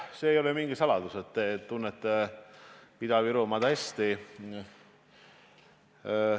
See ei ole mingi saladus, et te tunnete Ida-Virumaad hästi.